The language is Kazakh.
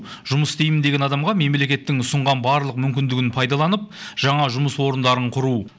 жұмыс істеймін деген адамға мемлекеттің ұсынған барлық мүмкіндігін пайдаланып жаңа жұмыс орындарын құру